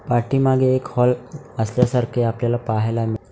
पाठीमागे एक हॉल असल्यासारखे आपल्याला पाहायला मि--